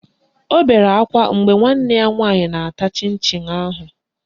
O bere akwa mgbe nwanne ya nwaanyị na-ata chịn chịn ahụ